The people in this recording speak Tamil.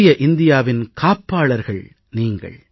புதிய இந்தியாவின் காப்பாளர்கள் நீங்கள்